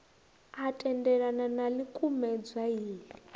a tendelana na ḽikumedzwa iḽi